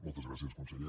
moltes gràcies conseller